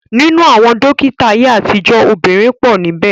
Ninu awon dokita aye atijo, obinrin po nibe.